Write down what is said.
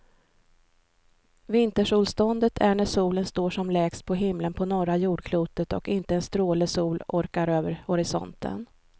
Vintersolståndet är när solen står som lägst på himlen på norra jordklotet och inte en stråle sol orkar över horisonten.